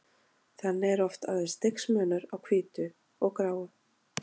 Þannig er oft aðeins stigsmunur á hvítu og gráu.